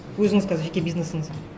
өзіңіз қазір жеке бизнесіңіз